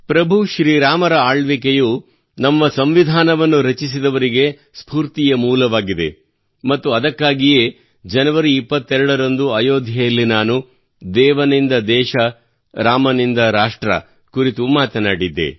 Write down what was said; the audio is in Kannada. ಪ್ರಭು ಶ್ರೀರಾಮನ ಆಳ್ವಿಕೆಯು ನಮ್ಮ ಸಂವಿಧಾನವನ್ನು ರಚಿಸಿದವರಿಗೆ ಸ್ಫೂರ್ತಿಯ ಮೂಲವಾಗಿದೆ ಮತ್ತು ಅದಕ್ಕಾಗಿಯೇ ಜನವರಿ 22 ರಂದು ಅಯೋಧ್ಯೆಯಲ್ಲಿ ನಾನು ದೇವನಿಂದ ದೇಶ ರಾಮನಿಂದ ರಾಷ್ಟ್ರ ದ ಕುರಿತು ಮಾತನಾಡಿದ್ದೆ